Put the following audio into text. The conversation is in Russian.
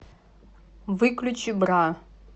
выключи бра